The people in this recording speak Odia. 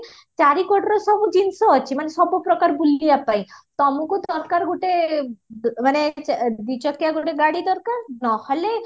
ଚାରି କଡ଼ର ସବୁ ଜିନଷ ଅଛି ମାନେ ସବୁ ପ୍ରକାର ବୁଲିବା ପାଇଁ ତମକୁ ଦରକାର ଗୋଟେ ମାନେ ଚାରି ଚକିଆ ଗୋଟେ ଗାଡି ଦରକାର ନହେଲେ